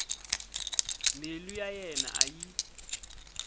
mbilu ya yena a yi